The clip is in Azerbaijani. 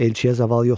Elçiyə zaval yoxdur.